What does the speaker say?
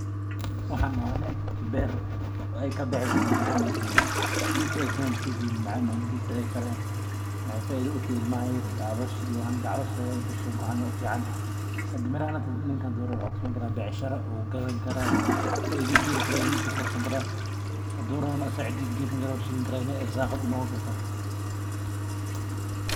Waxan waa nin beer lin macan ee ka baxdo agjogo geedka u agtagannyahay waa geed len macan calosha ayu uficantahay hada ninkan hadurawo wu gadani karaa wu ka becshiresan karaahadu rawana cida ayu gesani karaa si ee ilmaha ogu cunan sas ayey muhiim ogu tahay bulshaada bahashan.